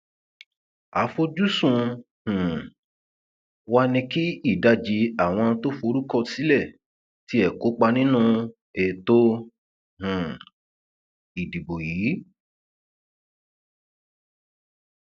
àfojúsùn um wa ni kí ìdajì àwọn tó forúkọsílẹ tiẹ kópa nínú ètò um ìdìbò yìí